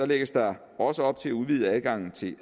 lægges der også op til at udvide adgangen til